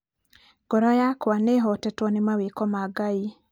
ngoro yakwa nĩihotetwo nĩ mawĩko ma Ngai